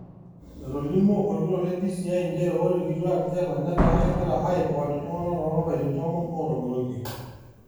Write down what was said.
Etolimuo olkitok le DCI nchere ore ilkituaak jela netaa kegira aokoon iltungana to lapaitin tomon otogiroitie.